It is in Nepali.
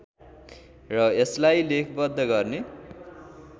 र यसलाई लेखबद्ध गर्ने